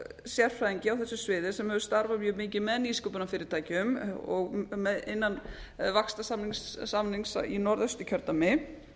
sérfræðingi á þessu sviði sem hefur starfað mjög mikið með nýsköpunarfyrirtækjum og innan vaxtasamnings í norðausturkjördæmi